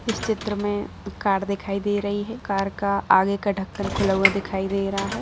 इस चित्र में कार दिखाई दे रही है कार का आगे का ढक्कन खुला हुआ दिखाई दे रहा है।